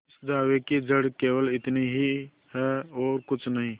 इस दावे की जड़ केवल इतनी ही है और कुछ नहीं